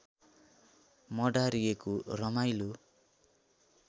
मडारिएको रमाइलो